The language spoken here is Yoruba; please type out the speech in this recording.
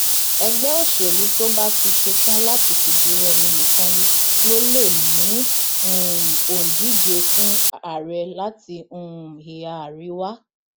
ẹgbẹ òṣèlú tó bá ti ṣẹtàn láti fìdírẹmi nìkan ló lè mú um òǹdíje fún ààrẹ láti um ìhà àríwá